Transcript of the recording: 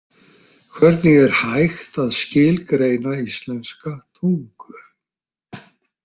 Hvernig er hægt að skilgreina íslenska tungu?